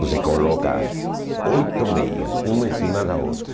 Você coloca oito meias, uma em cima da outra,